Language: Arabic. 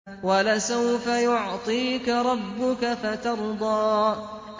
وَلَسَوْفَ يُعْطِيكَ رَبُّكَ فَتَرْضَىٰ